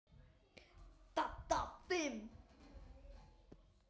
Dadda fimm.